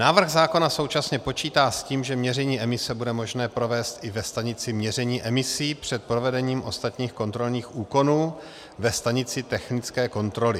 Návrh zákona současně počítá s tím, že měření emise bude možné provést i ve stanici měření emisí před provedením ostatních kontrolních úkonů ve stanici technické kontroly.